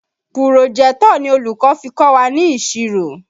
Pùròjẹ́tọ̀ ni olùkọ́ fi kọ́ wa ní ìṣirò